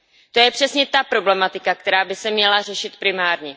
To je přesně ta problematika, která by se měla řešit primárně.